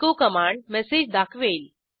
echo command message दाखवेल